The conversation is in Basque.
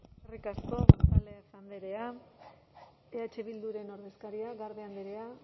eskerrik asko gonzález andrea eh bilduren ordezkaria garde andrea